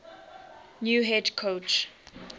new head coach